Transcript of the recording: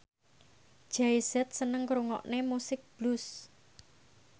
Jay Z seneng ngrungokne musik blues